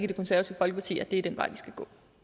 det konservative folkeparti er den vej vi skal